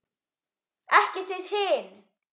Ekki þið hin!